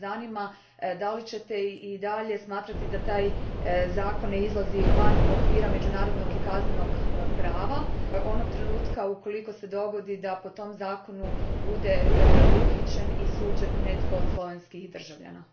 Zanima me hoćete li i dalje smatrati da taj zakon ne izlazi iz okvira međunarodnog i kaznenog prava onog trenutka ukoliko se dogodi da po tom zakonu bude uhićen i suđen netko od slovenskih državljana?